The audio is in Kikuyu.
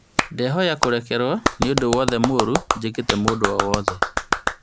Ndĩhoya kũrekerwo nĩũndũ wothe mũru njĩkĩte mũndũ o wothe